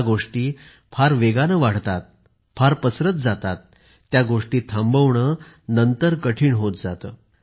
ज्या गोष्टी फार वेगाने वाढतात फार पसरत जातात त्या गोष्टी थांबवणे नंतर कठीण होत जाते